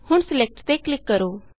ਹੁਣ Selectਤੇ ਕਲਿਕ ਕਰੋ